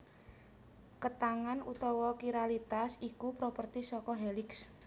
Ketangan utawa Kiralitas iku properti saka Heliks